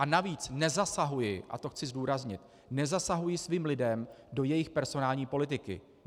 A navíc nezasahuji, a to chci zdůraznit, nezasahuji svým lidem do jejich personální politiky.